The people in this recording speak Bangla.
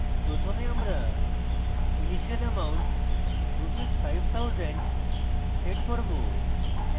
প্রথমে আমরা initial amount rs 5000 set করব